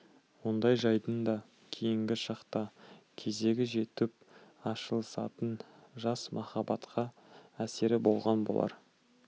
ондай жайдың да кейінгі шақта кезегі жетіп ашылысатын жас махаббатқа әсері болған болар